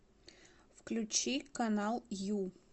включи канал ю